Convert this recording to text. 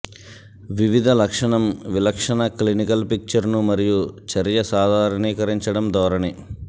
వివిధ లక్షణం విలక్షణ క్లినికల్ పిక్చర్ను మరియు చర్య సాధారణీకరించడం ధోరణి